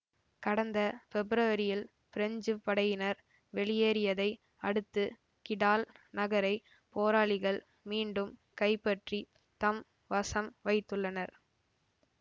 கடந்த பெப்ரவரியில் பிரெஞ்சு படையினர் வெளியேறியதை அடுத்து கிடால் நகரை போராளிகள் மீண்டும் கைப்பற்றித் தம் வசம் வைத்துள்ளனர்